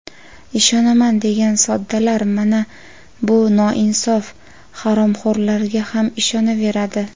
Ishonaman degan soddalar mana bu noinsof haromxo‘rlarga ham ishonaveradi.